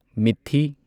ꯃꯤꯊꯤ